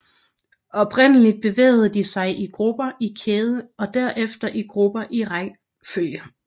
Oprindeligt bevægede de sig i grupper i kæde og derefter i grupper i rækkefølge